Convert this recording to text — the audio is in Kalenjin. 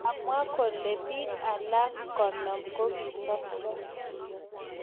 Kamwa kole bik alak 50 kokisobcho